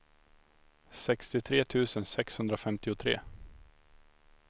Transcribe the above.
sextiotre tusen sexhundrafemtiotre